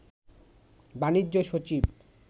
বাণিজ্য সচিব